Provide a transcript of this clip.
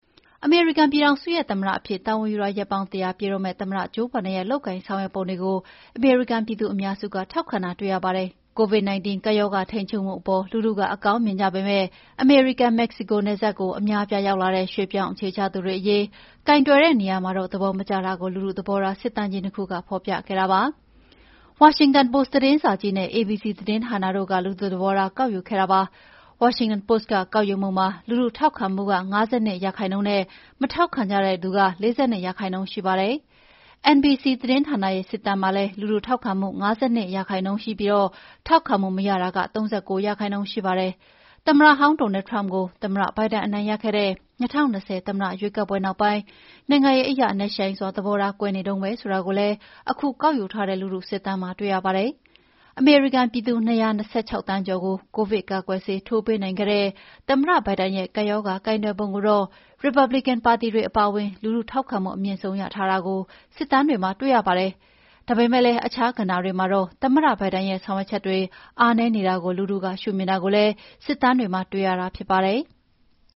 အမေရိကန်ပြည်ထောင်စုရဲ့သမ္မတ အဖြစ်တာဝန်ယူတာ ရက်ပေါင်း ၁၀၀ ပြည့်တော့မယ့် သမ္မတ ဂျိုးဘိုင်ဒန်ရဲ့လုပ်ကိုင်ဆောင်ရွက်ပုံတွေကို အမေရိကန်ပြည်သူအများစု ထောက်ခံတာတွေ့ရပါတယ်။ Covid-19 ကပ်ရောဂါထိန်းချုပ်မှုအပေါ် လူထုက အကောင်းမြင်ကြပေမယ့် အမေရိကန်-မက္ကဆီကို နယ်စပ်ကို အများအပြားရောက်လာတဲ့ ရွှေ့ပြောင်းအခြေချသူအရေး ကိုင်တွယ်တဲ့နေရာမှာတော့ သဘောမကျကြတာကို လူထုသဘောထား စစ်တမ်းကြီး ၂ ခုကဖော်ပြခဲ့တာပါ။ ဝါရှင်တန်ပို့စ်သတင်းစာကြီးနဲ့ ABC သတင်းဌာနတို့ က လူထုသဘေားထား ကောက်ယူခဲ့ကြဖြစ်ပါတယ်။ ဝါရှင်တန်ပို့စ်က ကောက်ယူမှုမှာ လူထုထောက်ခံမှုက ၅၂ %နဲ့ မထောက်ခံကြတဲ့သူက ၄၂ %ရှိပါတယ်။ NBC သတင်းဌာနရဲ့စစ်တမ်းမှာလည်း လူထုထောက်ခံမှုက ၅၂%နဲ့ ထောက်ခံမှုမရတာက ၃၉ % ရှိပါတယ်။ သမ္မတဟောင်း Donald Trump ကို သမ္မတ ဘိုင်ဒန်အနိုင်ရခဲ့တဲ့ ၂၀၂၀ သမ္မတရွေးကောက်ပွဲနောက်ပိုင်း နိုင်ငံရေးအရ နက်ရှိုင်းစွာသဘောထားကွဲနေတုန်းပဲ ဆိုတာကိုလည်း ခုကောက်ယူထားတဲ့ လူထု စစ်တမ်းတွေမှာတွေ့ရပါတယ်။ အမေရိကန်ပြည်သူ ၂၂၆ သန်းကျော်ကို ကိုဗစ်ကာကွယ်ဆေးထိုးပေးနိုင်ခဲ့တဲ့ သမ္မတဘိုင်ဒန်ရဲ့ကပ်ရောဂါကိုင်တွယ်ပုံကိုတော့ ရီပတ်ဘလစ်ကန်ပါတီဝင်တွေအပါအဝင် လူထု ထောက်ခံမှုအမြင့်ဆုံးရထားတာကို စစ်တမ်းတွေမှာတွေ့ရပါတယ်။ ဒါပေမယ့်လည်း အခြားကဏ္ဍေတွေမှာတော့သမ္မတဘိုင်ဒန်ရဲ့ ဆောင်ရွက်ချက်တွေ အားနည်းနေတာကို လူထုကရှုမြင်တာကိုလည်း စစ်တမ်းမှာ တွေ့မြင်နေရပါတယ်။